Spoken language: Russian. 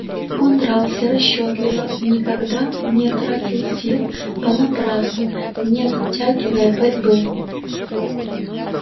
он дрался расчётливо никогда не тратил сил понапрасну не затягивая борьбы